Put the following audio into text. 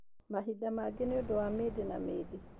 Mahinda mangĩ nĩ ũndũ wa mĩndĩ na mĩndĩ